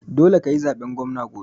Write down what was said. Dole kayi zaben gwamna gobe